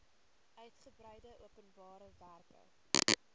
uigebreide openbare werke